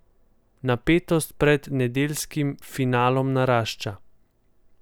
Napetost pred nedeljskim finalom narašča.